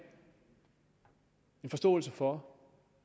forståelse for